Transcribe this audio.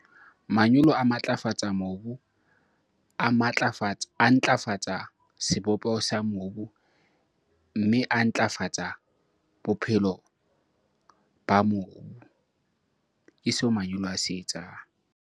Manyolo a matlafatsa mobu, a matlafatsa, a ntlafatsa sebopeho sa mobu, mme a ntlafatsa bophelo ba mobu. Ke seo manyolo a se etsang.